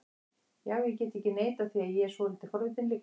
Já, ég get ekki neitað því að ég er svolítið forvitinn líka